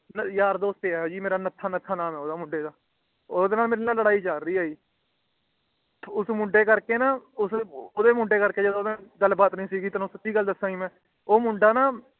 ਮਤਲਬ ਯਾਰ ਦੋਸਤ ਹੀ ਹੈ ਜੀ ਮੇਰਾ ਨੱਥਾ ਨੱਥਾ ਨਾਮ ਹੈ ਜੀ ਓਹਦਾ ਉਹਦੇ ਨਾਲ ਮੇਰੀ ਲੜਾਈ ਚਾਲ ਰਹੀ ਹੈ ਜੀ ਉਸ ਮੁੰਡੇ ਕਰਕੇ ਨਾ ਅਮ ਉਹਦੇ ਮੁੰਡੇ ਕਰਕੇ ਨਾ ਗੱਲ ਬਾਤ ਨਿਸੀ ਤੁਹਾਨੂੰ ਸਿਧਿ ਗੱਲ ਦੱਸਿਆ ਜੀ ਮੈਂ ਉਹ ਮੁੰਡਾ ਨਾ